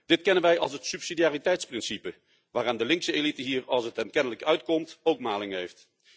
Dit kennen wij als het subsidiariteitsprincipe, waaraan de linkse elite hier, als het hen kennelijk uitkomt, ook maling heeft.